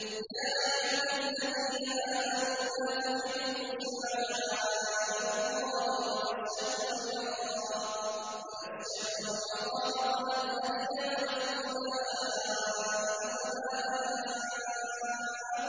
يَا أَيُّهَا الَّذِينَ آمَنُوا لَا تُحِلُّوا شَعَائِرَ اللَّهِ وَلَا الشَّهْرَ الْحَرَامَ وَلَا الْهَدْيَ وَلَا الْقَلَائِدَ وَلَا آمِّينَ